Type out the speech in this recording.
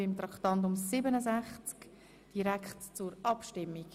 Demzufolge können wir direkt abstimmen.